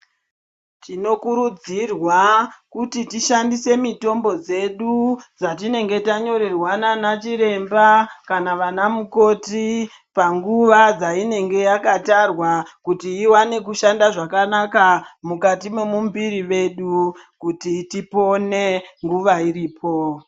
Tinokurudzirwa kuti tishandise mitombo dzedu dzatinenge tanyororwa nanachiremba kana vanamukoti panguwa dzainenge yakatarwa kuti dziwane kushanda zvakanaka mukati memumbiri vedu kuti tipone nguva iripo.